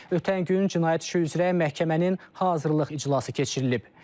Ötən gün cinayət işi üzrə məhkəmənin hazırlıq iclası keçirilib.